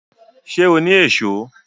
Ṣé o ni Èṣó?